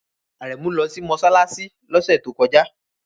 Aremu lọ sí mọ́ṣáláṣí lọ́sẹ̀ tó kọjá